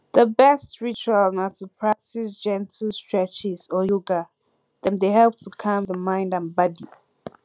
di best ritual na to practice gentle streches or yoga dem dey help to calm di mind and body